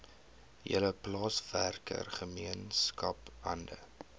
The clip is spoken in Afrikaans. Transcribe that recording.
hele plaaswerkergemeenskap hande